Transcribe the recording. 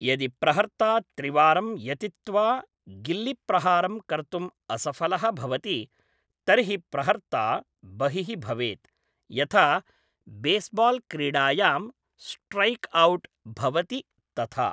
यदि प्रहर्त्ता त्रिवारं यतित्वा गिल्लिप्रहारं कर्तुं असफलः भवति तर्हि प्रहर्त्ता बहिः भवेत्, यथा बेसबाल्क्रीडायां स्ट्रैक्औट् भवति तथा।